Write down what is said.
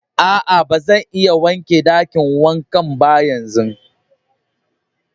Aa, ba zan iya wanke dakin wankan yanzun ba.